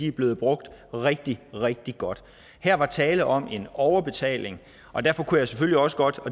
er blevet brugt rigtig rigtig godt her var tale om en overbetaling og derfor kunne jeg selvfølgelig også godt